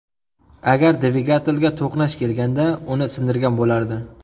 Agar dvigatelga to‘qnash kelganda, uni sindirgan bo‘lardi.